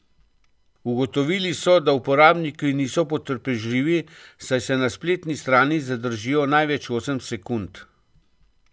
Ugotovili so, da uporabniki niso potrpežljivi, saj se na spletni strani zadržijo največ osem sekund.